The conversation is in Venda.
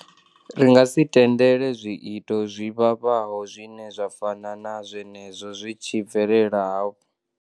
Ri nga si tendele zwiito zwi vhavhaho zwine zwa fana na zwenezwo zwi tshi bvelela hafhu.